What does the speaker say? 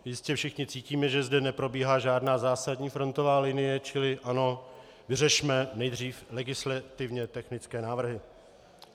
Jistě všichni cítíme, že zde neprobíhá žádná zásadní frontová linie, čili ano, vyřešme nejdřív legislativně technické návrhy.